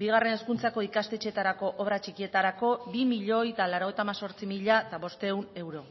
bigarren hezkuntzako ikastetxetarako obrak txikietarako bi milioi laurogeita hemezortzi mila bostehun euro